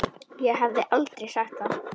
Ég hefði aldrei sagt það.